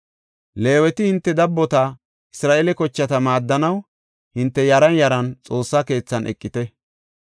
Leeweti hinte dabbota, Isra7eele kochata maaddanaw hinte yaran yaran Xoossa keethan eqite.